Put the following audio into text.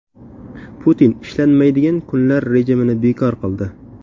Putin ishlanmaydigan kunlar rejimini bekor qildi.